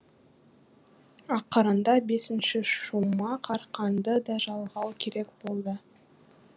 ақырында бесінші шумақ арқанды да жалғау керек болды